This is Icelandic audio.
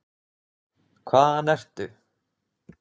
Hvaðan ertu?